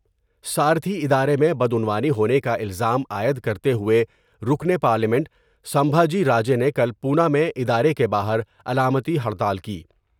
سارتھی ادارے میں بدعنوانی ہونے کا الزام عائد کرتے ہوۓ رکن پارلیمنٹ سنجابی راجے نے کل پونا میں ادارے کے باہر علامتی ہڑتال کی ۔